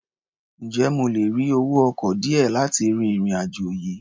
Ǹjẹ́ mo lè rí owó ọkọ̀ díẹ̀ láti ri ìrìn-àjò yìí?